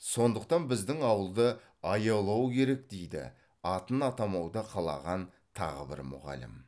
сондықтан біздің ауылды аялау керек дейді атын атамауды қалаған тағы бір мұғалім